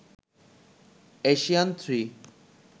Asian 3